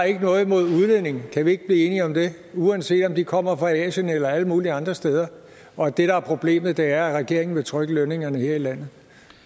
ikke har noget imod udlændinge kan vi ikke blive enige om det uanset om de kommer fra asien eller alle mulige andre steder og at det der er problemet er at regeringen vil trykke lønningerne her i landet